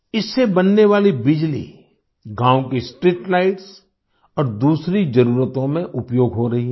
इससे बनने वाली बिजली गाँव की स्ट्रीटलाइट्स और दूसरी जरूरतों में उपयोग हो रही है